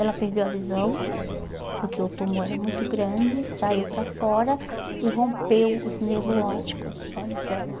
Ela perdeu a visão, porque o tumor era muito grande, saiu para fora e rompeu os nervos ópticos dos olhos dela.